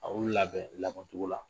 A y'u labɛn labɛn cogo la